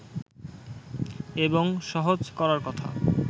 এবং সহজ করার কথা